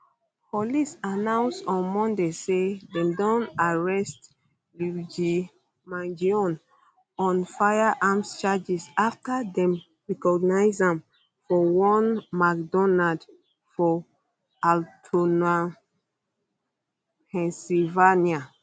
police announce on monday say dem don arrest luigi mangione on firearms charges afta dem recognise am for one mcdonald for altoona pennsylvania